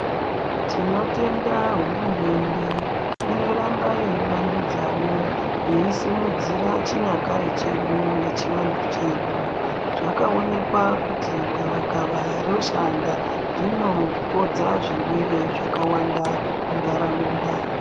Tinotenda hurumende inoramba yeivandudzawo yeisumudzira chinyakare chedu nechivantu chedu , zvakaonekwa kuti gavakava roshanda rinopodza zvirwere zvakawanda munharaunda.